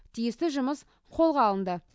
тиісті жұмыс қолға алынды